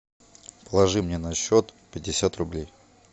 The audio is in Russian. положи мне на счет пятьдесят рублей